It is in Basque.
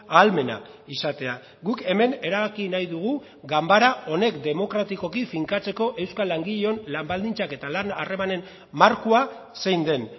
ahalmena izatea guk hemen erabaki nahi dugu ganbara honek demokratikoki finkatzeko euskal langileon lan baldintzak eta lan harremanen markoa zein den